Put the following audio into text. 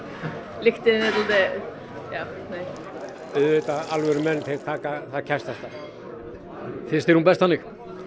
lyktin er dálítiðjá nei auðvitað alvöru menn það kæstasta finnst þér hún best þannig